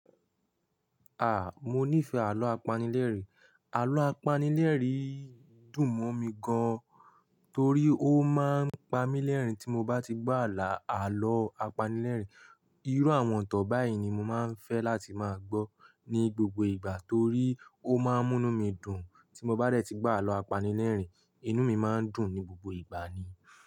À, mo nífẹ̀ẹ́ àlọ́ apanilérìn. Àlọ́ apanilérìn dùn mọ̀ mi gan, torí ó máa ń pa mí lẹ́rìn tí mo bá ti gbọ́ ààlọ́ apanilérìn. Irú àwọn itan báyìí ni mo máa ń fẹ́ láti máa gbọ́ ní gbogbo ìgbà torí ó máa ń mú inu mí dùn. Tí mo bá dẹ́ ti gbọ́ àlọ́ apanilérìn, inú mí máa ń dùn ní gbogbo ìgbà ni.